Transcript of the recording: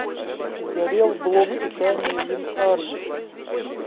сгорел блок питания винард